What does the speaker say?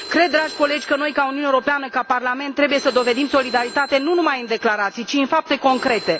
Cred, dragi colegi, că noi ca uniune europeană, ca parlament, trebuie să dovedim solidaritate nu numai în declarații, ci în fapte concrete.